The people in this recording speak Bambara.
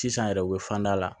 Sisan yɛrɛ u bɛ fand'a la